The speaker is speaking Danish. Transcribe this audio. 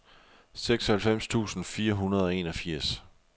seksoghalvfems tusind fire hundrede og enogfirs